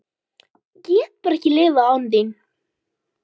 Ég get bara ekki lifað án þín.